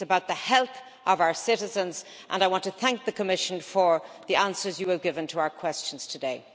it is about the health of our citizens, and I want to thank the Commission for the answers you have given to our questions today.